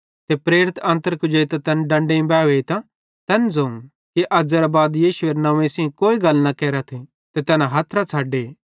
ते प्रेरित अन्तर कुजेइतां तैन डंडेइं बावैहीतां तैन ज़ोवं कि अज़ेरां बाद यीशुएरे नंव्वे सेइं कोई गल न केरथ ते तैना हथरां छ़डे